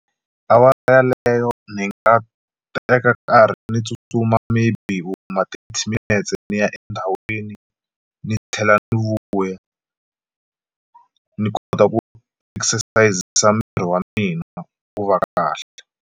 Awara leyo ni nga teka karhi ni tsutsuma maybe vo ma thirty minutes ndzi ya endhawini ni tlhela ni vuya ni kota ku miri wa mina wu va kahle.